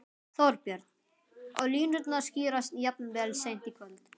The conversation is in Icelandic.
Þorbjörn: Og línurnar skýrast jafnvel seint í kvöld?